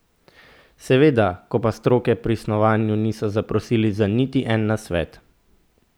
Seveda, ko pa stroke pri snovanju niso zaprosili za niti en nasvet!